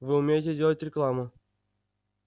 вы умеете делать рекламу